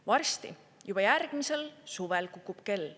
Varsti, juba järgmisel suvel, kukub kell.